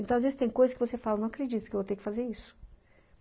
Então, às vezes, tem coisas que você fala, não acredito que eu vou ter que fazer isso.